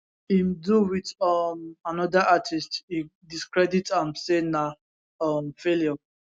im do wit um anoda artiste e discredit am say na um failure